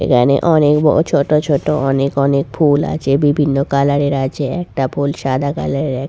এখানে অনেক ব ছোট ছোট অনেক অনেক ফুল আছে বিভিন্ন কালার এর আছে একটা ফুল সাদা কালার এর এ--